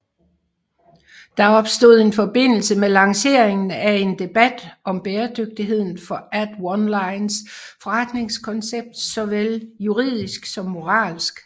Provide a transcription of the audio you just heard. Der opstod i forbindelse med lanceringen en debat om bæredygtigheden for AidOnlines forretningskoncept såvel juridisk som moralsk